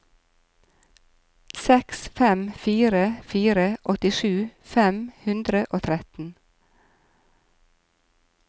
seks fem fire fire åttisju fem hundre og tretten